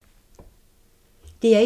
DR1